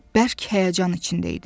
Bərk həyəcan içində idi.